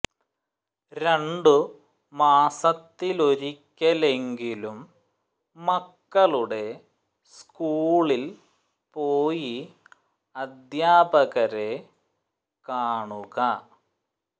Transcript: രണ്ടു മാസ ത്തിലൊരിക്കലെങ്കിലും മക്കളുടെ സ്കൂളിൽ പോയി അ ധ്യാപകരെ കാണുക